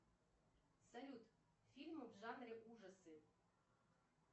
салют фильмы в жанре ужасы